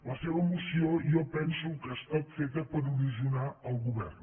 la seva moció jo penso que ha estat feta per erosionar el go·vern